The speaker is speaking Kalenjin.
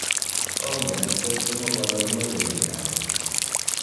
ongen akwek somok ale omache nee karon